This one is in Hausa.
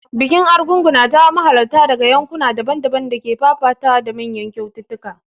Bikin Argungu na jawo mahalarta daga yankuna daban-daban da ke fafatawa da manyan kyaututtuka.